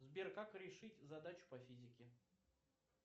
сбер как решить задачу по физике